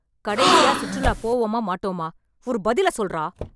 கடைசியா சுற்றுலா போவோமா மாட்டோமா ? ஒரு பதில சொல்றா!